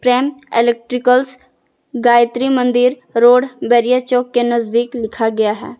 प्रेम electricals Gayatri Mandir road Bairiya Chowk के नजदीक लिखा गया है।